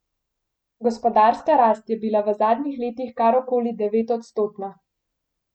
Gospodarska rast je bila v zadnjih letih kar okoli devetodstotna.